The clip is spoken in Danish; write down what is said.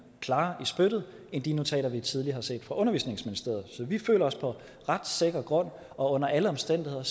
klart i spyttet end de notater vi tidligere har set fra undervisningsministeriet så vi føler os på ret sikker grund og under alle omstændigheder